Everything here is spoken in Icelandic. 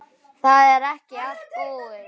Það er ekki allt búið.